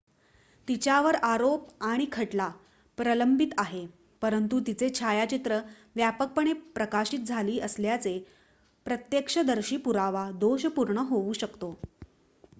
तिच्यावर आरोप आणि खटला प्रलंबित आहे परंतु तिचे छायाचित्र व्यापकपणे प्रकाशित झाली असल्याने प्रत्यक्षदर्शी पुरावा दोषपूर्ण होऊ शकतो